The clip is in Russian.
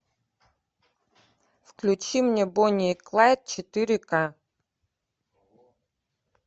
включи мне бонни и клайд четыре ка